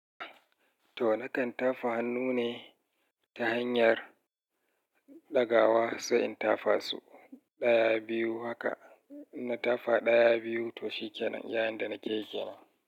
To, na kan tafa hannu ne ta hanyar ɗagawa sai in tafa su ɗaya, biyu haka. Na tafa ɗaya, biyu to shi kenan, iya yanda na ke yi kenan.